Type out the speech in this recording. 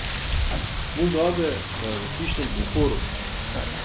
Mugabe pa je v hišnem priporu.